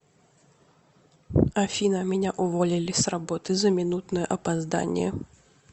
афина меня уволили с работы за минутное опоздание